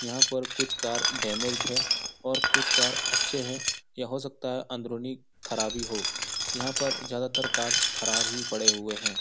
यहाँ पर कुछ कार डैमेजड है और कुछ कार अच्छे है या हो सकता है अंदरूनी खराबी हो यहाँ पर ज्यादातर कार्स खराब ही पड़े हुए हैं।